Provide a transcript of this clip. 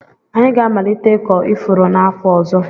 Anyị ga-amalite ịkọ ifuru n'afọ ọzọ.